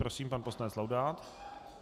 Prosím, pan poslanec Laudát.